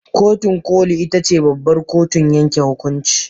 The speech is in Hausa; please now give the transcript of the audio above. Kotun koli ita ce babbar kotun yanke hukunci.